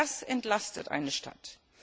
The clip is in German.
Das entlastet eine Stadt.